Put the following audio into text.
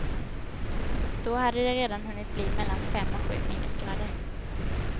Då hade det redan hunnit bli mellan fem och sju minusgrader.